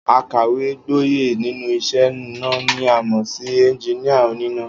Akàwé-gboyè nínú is̩é̩ iná ni a mò̩ sí e̩njiníà oníná